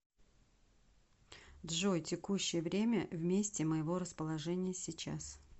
джой текущее время в месте моего расположения сейчас